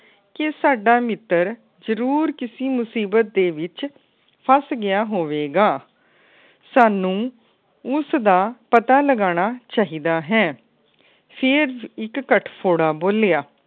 ਕਿ ਸਾਡਾ ਮਿੱਤਰ ਜਰੂਰ ਕਿਸੀ ਮੁਸੀਬਤ ਦੇ ਵਿੱਚ ਫਸ ਗਿਆ ਹੋਵੇ ਗਾ ਸਾਨੂੰ ਉਸ ਦਾ ਪਤਾ ਲਗਾਨਾ ਚਾਹੀਦਾ ਹੈ।